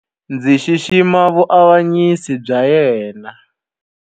Ndzi xixima vuavanyisi bya yena.